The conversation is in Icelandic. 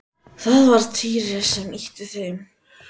Það var Týri sem ýtti við þeim.